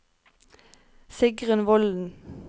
Sigrunn Volden